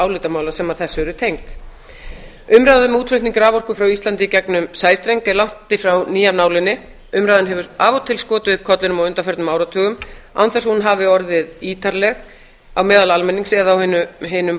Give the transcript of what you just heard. álitamála sem þessu eru tengd umræða um útflutning raforku frá íslandi í gegnum sæstreng er langt í frá ný af nálinni umræðan hefur af og til skotið upp kollinum á undanförnum áratugum án þess að hún hafi orðið ítarleg á meðal almennings eða á hinum